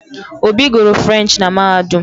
Obi guru Frurenchi na Mahadum